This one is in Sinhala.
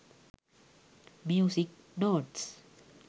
music notes